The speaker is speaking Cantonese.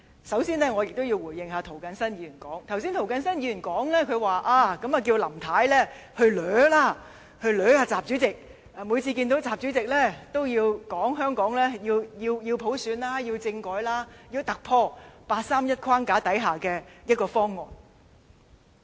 首先，我要回應涂謹申議員，他剛才叫林太向習主席"死纏爛打"，每次會見習主席，也提出香港要普選、要政改、要突破八三一框架之下的方案。